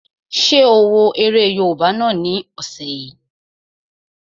Ṣé o wo eré yóòbá náà ni ọ̀sẹ̀ yìí?